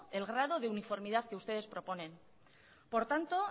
el grado de informidad que ustedes proponen por tanto